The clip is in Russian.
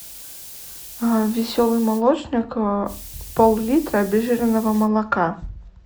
веселый молочник пол литра обезжиренного молока